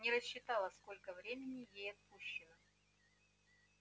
не рассчитала сколько времени ей отпущено